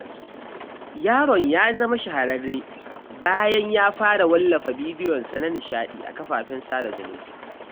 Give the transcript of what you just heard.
Yaron ya zama shahararre bayan ya fara wallafa bidiyonsa na nishaɗi a kafafen sada zumunta.